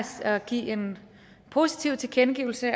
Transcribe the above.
at give en positiv tilkendegivelse